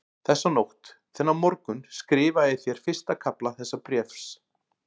Þessa nótt, þennan morgun, skrifaði ég þér fyrsta kafla þessa bréfs.